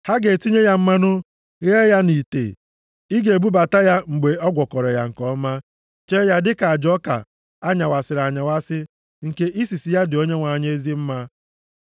Ha ga-etinye ya mmanụ, ghee ya nʼite. Ị ga-ebubata ya mgbe a gwọkọrọ ya nke ọma, chee ya dịka aja ọka a nyawasịrị anyawasị nke isisi ya dị Onyenwe anyị ezi mma.